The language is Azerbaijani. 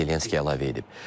deyə Zelenski əlavə edib.